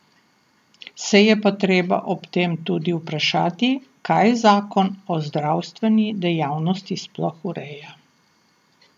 Se je pa treba ob tem tudi vprašati, kaj zakon o zdravstveni dejavnosti sploh ureja.